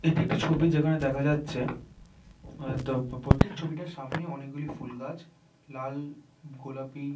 এটি একটি ছবি যেখানে দেখা যাচ্ছে হয়তো প্রতীক ছবিটার সামনে অনেক গুলি ফুল গাছ লাল গোলাপি--